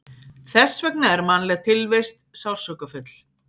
Þess vegna er mannleg tilvist sársaukafull.